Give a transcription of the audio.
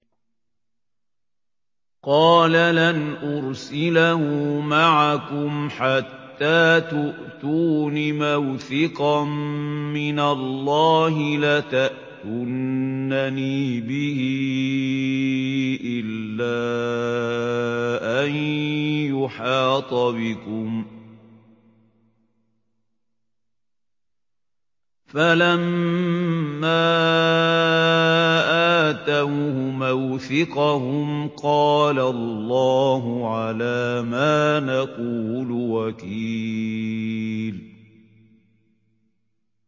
قَالَ لَنْ أُرْسِلَهُ مَعَكُمْ حَتَّىٰ تُؤْتُونِ مَوْثِقًا مِّنَ اللَّهِ لَتَأْتُنَّنِي بِهِ إِلَّا أَن يُحَاطَ بِكُمْ ۖ فَلَمَّا آتَوْهُ مَوْثِقَهُمْ قَالَ اللَّهُ عَلَىٰ مَا نَقُولُ وَكِيلٌ